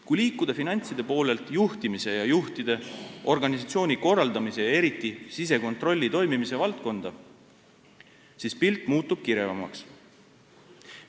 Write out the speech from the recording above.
Kui liikuda finantside poolelt juhtimise ja juhtide, organisatsiooni korraldamise, eriti sisekontrolli toimimise valdkonda, siis muutub pilt kirevamaks.